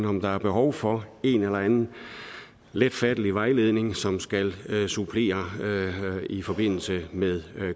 om der er behov for en eller anden let fattelig vejledning som skal supplere det i forbindelse med